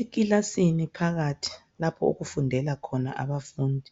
Ekilasini phakathi lapho okufundela khona abafundi,